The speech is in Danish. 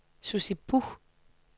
Sussi Buch